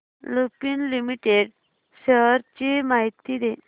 Lupin limited shares ची माहिती दे